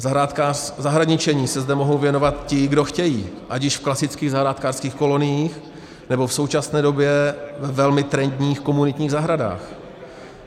Zahradničení se zde mohou věnovat ti, kdo chtějí, ať již v klasických zahrádkářských koloniích, nebo v současné době ve velmi trendních komunitních zahradách.